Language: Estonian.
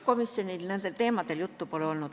Komisjonis nendel teemadel juttu pole olnud.